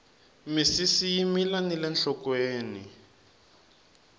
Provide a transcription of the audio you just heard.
misisi yi mila nile nhlokweni